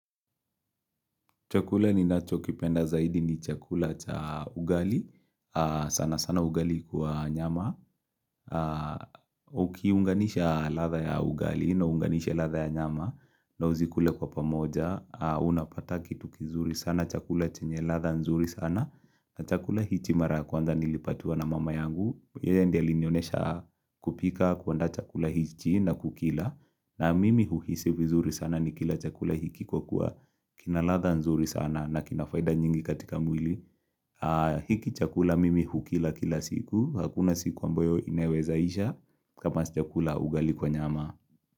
Chakula ninachokipenda zaidi ni chakula cha ugali. Sana sana ugali kwa nyama. Ukiunganisha ladha ya ugali na uunganishe ladha ya nyama. Na uzikule kwa pamoja. Unapata kitu kizuri sana. Chakula chenye ladha nzuri sana. Na chakula hichi mara ya kwanza nilipatiwa na mama yangu. Yeya ndiye alinionesha kupika kuandaa chakula hichi na kukila. Na mimi huhisi vizuri sana nikila chakula hiki kwa kuwa kina ladha nzuri sana na kina faida nyingi katika mwili hiki chakula mimi hukila kila siku. Hakuna siku ambayo inaweza isha kama sijakula ugali kwa nyama.